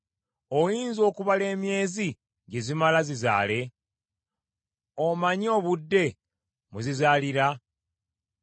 Oyinza okubala emyezi gye zimala zizaale? Omanyi obudde mwe zizaalira?